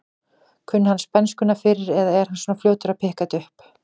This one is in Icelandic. Kunni hann spænskuna fyrir eða er hann svona fljótur að pikka þetta upp?